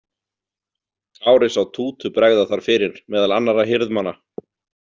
Kári sá Tútu bregða þar fyrir meðal annarra hirðmanna.